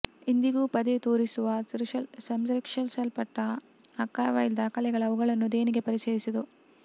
ಇಂದಿಗೂ ಪದೇ ತೋರಿಸುವ ಸಂರಕ್ಷಿಸಲ್ಪಟ್ಟ ಆರ್ಕೈವಲ್ ದಾಖಲೆಗಳ ಅವುಗಳನ್ನು ದೇಣಿಗೆ ಪರಿಚಯಿಸಿತು